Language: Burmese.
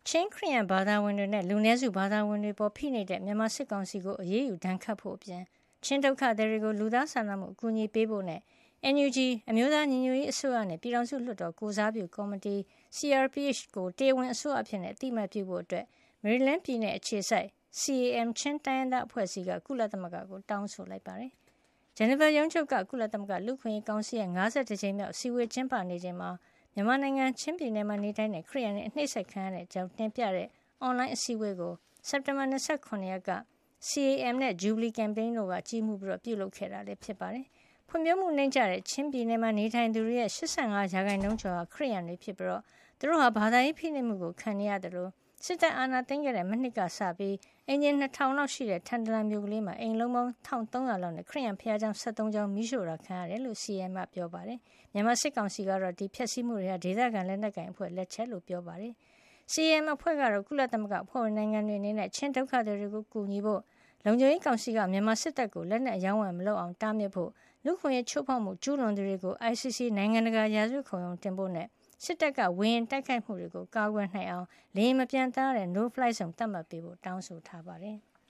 ချင်းခရစ်ယန် ဘာသာဝင်တွေနဲ့ လူနည်းစု ဘာသာဝင်တွေ အပေါ်ဖိနှိပ်နေတဲ့ မြန်မာစစ်ကောင်စီကို အရေးယူဒဏ်ခတ်ဖို့အပြင် ချင်းဒုက္ခသည်တွေကို လူသားချင်း စာနာမှုအကူညီပေးဖို့ NUG အမျိုးသားညီညွတ်ရေးအစိုးရနဲ့ ပြည်ထောင်စု လွှတ်တော်ကိုယ်စားပြုကော်မတီ CRPH ကို တရားဝင်အစိုးရအဖြစ် အသိမှတ်ပြုဖို့ မေရီလန်းပြည်နယ်အခြေစိုက် CAM ချင်းတိုင်းရင်းသားအဖွဲ့အစည်းက ကုလသမဂ္ဂကို တောင်းဆိုလိုက်ပါတယ်။ ဂျနီဗာရုံးချုပ်က ကုလသမဂ္ဂ လူ့အခွင့်ရေးကောင်စီရဲ့ ၅၁ ကြိမ်မြောက် အစည်းအဝေး ကျင်းပနေချိန်မှာ မြန်မာနိုင်ငံ ချင်းပြည်နယ်မှာ နေထိုင်တဲ့ ခရစ်ယန်တွေ အနှိပ်စက်ခံနေရတဲ့ အကြောင်းတင်ပြတဲ့ အွန်လိုင်းအစည်းအဝေးကို စက်တင်ဘာ ၂၇ ရက်က CAM နဲ့ Jubilee Campaign တို့ကြီးမှုး ပြုလုပ်ခဲ့တာ ဖြစ်ပါတယ်။ ဖွံ့ဖြိုးမှုနိမ့်ကျတဲ့ ချင်းပြည်နယ်မှာ နေထိုင်သူတွေရဲ့ ၈၅ % ကျော်ဟာ ခရစ်ယန်တွေဖြစ်ပြီး သူတို့ဟာ ဘာသာရေးဖိနှိပ်မှုကို ခံနေရသလို စစ်တပ်အာဏာသိမ်းခဲ့တဲ့ မနှစ်က စပြီး အိမ်ခြေ ၂၀၀၀ လောက်ရှိတဲ့ ထန်တလန်မြို့ကလေးမှာ အိမ်အလုံးပေါင်း ၁၃၀၀ လောက်နဲ့ ခရစ်ယန်ဘုရားကျောင်း ၁၃ ကျောင်း မီးရှို့ဖျက်ဆီးတာ ခံခဲ့ရတယ်လို့ CAM က တင်ပြခဲ့တာပါ။ မြန်မာစစ်ကောင်စီကတော့ မီးရှို့ဖျက်ဆီးမှုတွေဟာ ဒေသခံလက်နက်ကိုင် အဖွဲ့တွေရဲ့ လက်ချက်အဖြစ် ပြောဆိုလေ့ရှိပါတယ်။ CAM အဖွဲ့ကတော့ ကုလသမဂ္ဂအဖွဲ့ဝင် နိုင်ငံတွေ အနေနဲ့ ချင်းဒုက္ခသည်တွေကို အကူညီပေးဖို့၊ လုံခြုံရေးကောင်စီက မြန်မာစစ်တပ်ကို လက်နက်အရောင်းဝယ်မလုပ်အောင် တားမြစ်ဖို့၊ လူ့အခွင့်အရေး ချိုးဖောက်မှု ကျူးလွန်သူတွေကို ICC နိုင်ငံတကာ ရာဇဝတ်ခုံရုံးတင်ဖို့နဲ့ စစ်တပ်ရဲ့ ဝေဟင်ကတိုက်ခိုက်မှုတွေကို ကာကွယ်နိုင်အောင် လေယာဉ်မပံျသန်းရတဲ့ no fly zone သတ်မှတ်ပေးဖို့ပါ တောင်းဆိုထားပါတယ်။